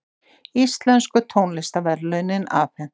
Íslensku tónlistarverðlaunin afhent